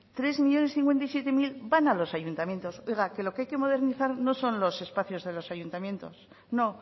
tres millónes cincuenta y siete mil van a los ayuntamientos oiga que lo que hay que modernizar no son los espacios de los ayuntamientos no